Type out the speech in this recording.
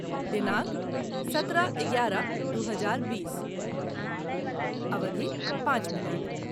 दिनांक सत्रह एगारह दू हजार बीस, अवधि पाँच मिनट